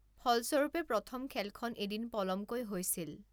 ফলস্বৰূপে, প্ৰথম খেলখন এদিন পলমকৈ হৈছিল।